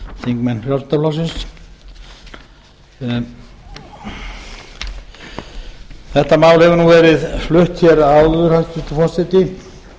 þingmenn frjálslynda flokksins þetta mál hefur nú verið flutt hér áður hæstvirtur forseti